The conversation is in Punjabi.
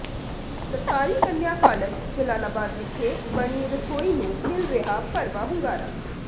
ਸਰਕਾਰੀ ਕੰਨਿਆ ਕਾਲਜ ਜਲਾਲਾਬਾਦ ਵਿਖੇ ਬਣੀ ਰਸੋਈ ਨੂੰ ਮਿਲ ਰਿਹਾ ਭਰਵਾ ਹੁੰਗਾਰਾ